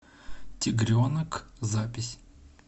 тигренок запись